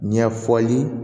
Ɲɛfɔli